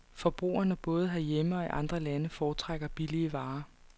Forbrugerne både herhjemme og i andre lande foretrækker billige varer.